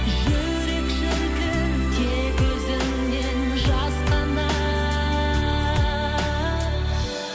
жүрек шіркін тек өзіңнен жасқанар